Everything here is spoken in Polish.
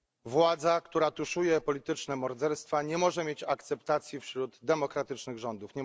Władza, która tuszuje polityczne morderstwa, nie może mieć akceptacji wśród demokratycznych rządów.